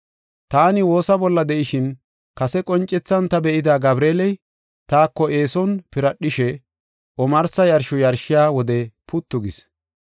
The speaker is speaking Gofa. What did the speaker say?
Taani woosa bolla de7ishin, kase qoncethan ta be7ida Gabreeley, taako eeson piradhishe, omarsa yarsho yarshiya wode puttu gis.